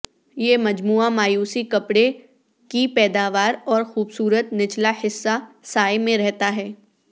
یہ مجموعہ مایوسی کپڑے کی پیداوار اور خوبصورت نچلا حصہ سائے میں رہتا ہے